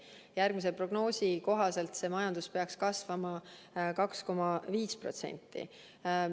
Järgmisel prognoosi kohaselt peaks majandus kasvama 2,5%.